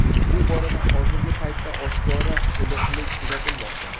Bu borada hozirgi paytda oshkora iliqlik kuzatilmoqda.